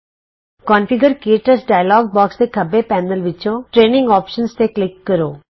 configure ਕੇ touch dialog box ਦੇ ਖੱਬੇ ਪੈਨਲ ਵਿੱਚੋਂ ਟਰੇਨਿੰਗ ਵਿਕਲਪ ਤੇ ਕਲਿਕ ਕਰੋ